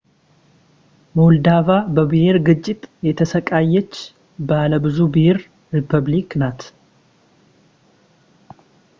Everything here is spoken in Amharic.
ሞልዶቫ በብሄር ግጭት የተሰቃየች ባለብዙ ብሄር ሪፐብሊክ ናት